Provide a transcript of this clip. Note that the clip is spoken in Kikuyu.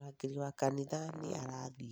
Murangĩri wa kanitha nĩ arathiĩ